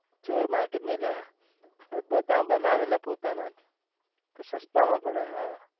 ચોર market નહી અલા બધા બનાવે ને પોતાના જ તો સસ્તા માં પડે